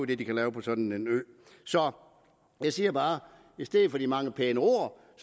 det de kan lave på sådan en ø så jeg siger bare at i stedet for de mange pæne ord